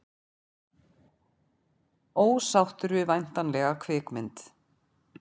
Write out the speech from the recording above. Ósáttur við væntanlega kvikmynd